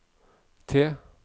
T